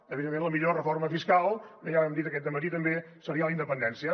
evidentment la millor reforma fiscal ja ho hem dit aquest dematí també seria la independència